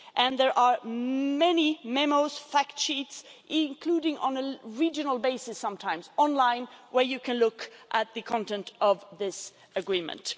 There are also many memos and fact sheets, including on a regional basis, and sometimes online, in which you can look at the content of this agreement.